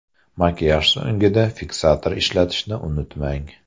Makiyaj so‘ngida fiksator ishlatishni unutmang.